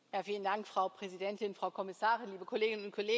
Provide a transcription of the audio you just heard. Frau Präsidentin, Frau Kommissarin, liebe Kolleginnen und Kollegen!